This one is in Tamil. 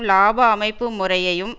இலாப அமைப்பு முறையையும்